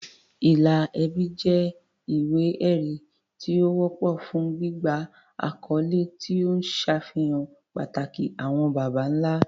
Ìlà ẹbí jẹ́ ìwé-ẹ̀rí tí ó wọ́pọ̀ fún gbígba àkọ́lé, tí ó ń ṣàfihàn pàtàkì àwọn baba ńlá.